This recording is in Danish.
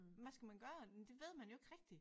Men hvad skal man gøre? Det ved man jo ikke rigtig